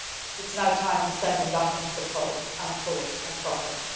It is now time to send him back into the cold, fully and properly.